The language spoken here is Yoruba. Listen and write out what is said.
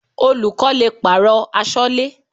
Olùkọ́ le pàrọ̀ aṣọ́lẹ́.